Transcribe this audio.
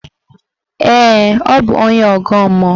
Ee, ọ bụ onye ọgọ mmụọ